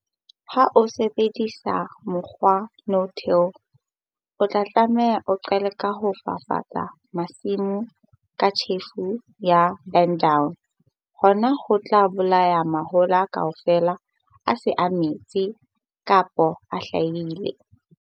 Ha o sebedisa mokgwa no-till, o tla tshwanela ho qala ka ho fafatsa masimo ka tjhefo ya, burn-down. Hona ho tla bolaya mahola kaofela a seng a metse kapo a hlahile.